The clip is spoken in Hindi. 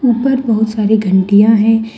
ऊपर बहुत सारी घंटियां हैं।